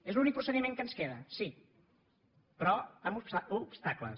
és l’únic pro·cediment que ens queda sí però amb obstacles